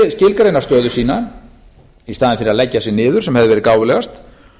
að endurskilgreina stöðu sína í staðinn fyrir að leggja sig niður sem hefði verið gáfulegast